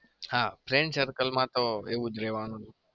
હા friend circle માં તો એવું જ રેવાનું.